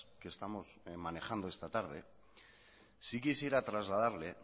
que estamos manejando esta tarde sí quisiera trasladarle